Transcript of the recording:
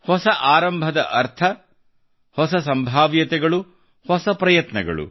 ಹೊಸ ಆರಂಭದ ಅರ್ಥ ಹೊಸ ಸಂಭಾವ್ಯತೆಗಳು ಹೊಸ ಪ್ರಯತ್ನಗಳು